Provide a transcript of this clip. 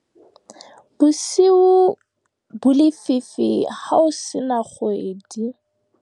Bosiu bo lefifi ho se na kgwedi.